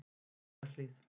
Sæmundarhlíð